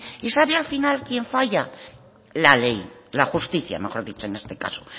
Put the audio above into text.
y sabe al final quién falla la ley la justicia mejor dicho en este caso